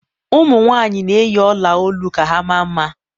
ụmụ nwaanyị na-eyi ọla olu ka ha maa mma